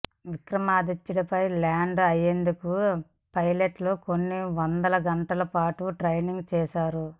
విక్రమాదిత్యపై land అయ్యేందుకు పైలట్లు కొన్ని వంద గంటల పాటు ట్రైనింగ్ చేశారు